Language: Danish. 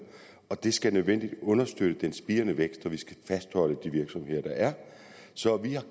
og det skal i nødvendigt understøtte den spirende vækst og fastholde de virksomheder der er så vi